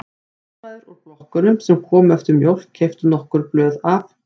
Húsmæður úr blokkunum sem komu eftir mjólk keyptu nokkur blöð af